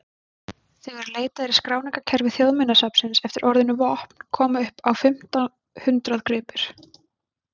Þegar leitað er í skráningarkerfi Þjóðminjasafnsins eftir orðinu vopn koma upp á fimmta hundrað gripir.